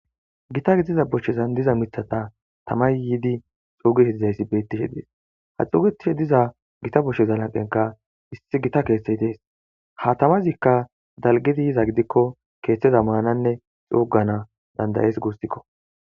Gita gidiza bochazan diza matata tamay yidi dhugidi dizaysi betishe dees ha dhugetidi diza gita boshaza lanqiyanka issi gita kethay dees ha tamazika dalgid yiza gidiko kethaza manane dhugana danda'es gusiko.